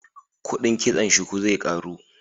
Kudin kitson shuku zai karu